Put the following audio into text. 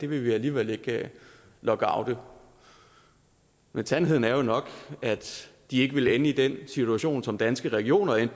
vil vi alligevel ikke lockoute men sandheden er jo nok at de ikke ville ende i den situation som danske regioner endte